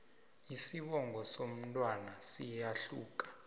isibongo somntwana siyahluka